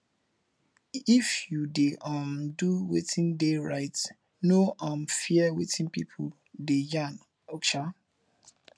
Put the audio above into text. if you de um do wetin de right no um fear wetin pipo de yarn um